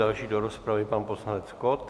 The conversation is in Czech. Další do rozpravy pan poslanec Kott.